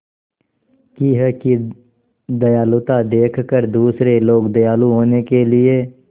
की है कि दयालुता देखकर दूसरे लोग दयालु होने के लिए